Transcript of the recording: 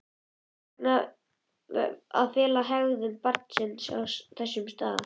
Hvers vegna að fela hegðun barnsins á þessum stað?